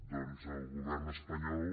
doncs el govern espanyol